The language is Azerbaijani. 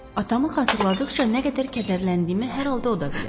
Atamı xatırladıqca nə qədər kədərləndiyimi hər halda o da bilir.